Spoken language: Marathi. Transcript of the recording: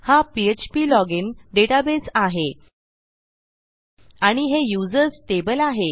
हा पीएचपी लॉजिन डेटाबेस आहे आणि हे यूझर्स टेबल आहे